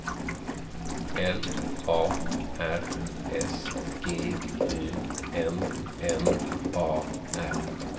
L A R S G U N N A R